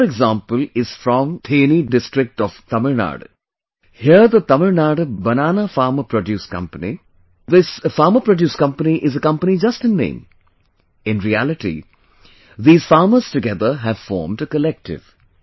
Another example is from then district of Tamil Nadu, here the Tamil Nadu Banana farmer produce company; This Farmer Produce Company is a company just in name; in reality, these farmers together have formed a collective